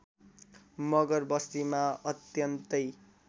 मगर बस्तीमा अत्यन्तै